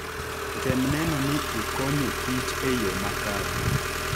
Tem neno ni ikonyo kich e yo makare.